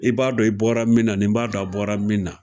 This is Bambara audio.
I b'a dɔn i bɔra min na nin b'a dɔn a bɔra min na.